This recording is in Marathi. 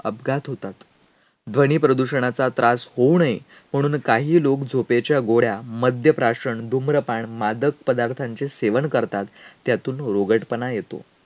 अपघात होतात. ध्वनीप्रदूषणाचा त्रास होऊ नये म्हणून काही लोक झोपेच्या गोळ्या, मद्यप्राशन, धूम्रपान, मादक पदार्थांचे सेवन करतात. त्यातून रोगटपणा येतो.